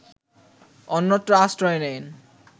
অন্যত্র আশ্রয় নেন